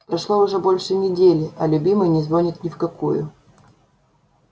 прошло уже больше недели а любимый не звонит ни в какую